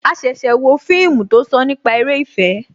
A ṣẹ̀ṣẹ̀ wo fíìmù tó sọ nípa eré ìfẹ́